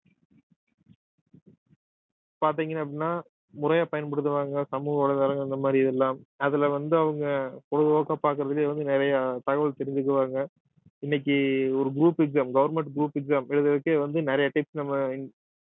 பார்த்தீங்கன்னா அப்படின்னா முறையா பயன்படுத்துவாங்க சமூக வலைதளங்கள் இந்த மாதிரி இதெல்லாம் அதுல வந்து அவங்க பொழுதுபோக்கா பாக்குறதுலையே வந்து நிறைய தகவல் தெரிஞ்சுக்குவாங்க இன்னைக்கு ஒரு group exam government group exam எழுதறதுக்கே வந்து நிறைய tips நம்ம